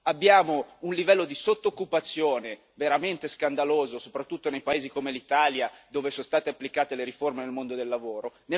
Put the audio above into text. Abbiamo un livello di sotto occupazione veramente scandaloso, soprattutto in paesi come l'Italia dove sono state applicate le riforme del mondo del lavoro.